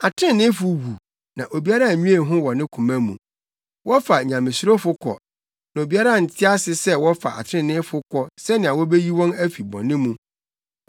Atreneefo wu, na obiara nnwen ho wɔ ne koma mu; wɔfa nyamesurofo kɔ, na obiara nte ase sɛ wɔfa atreneefo kɔ sɛnea wobeyi wɔn afi bɔne mu.